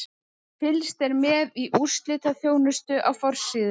Fylgst er með í úrslitaþjónustu á forsíðu.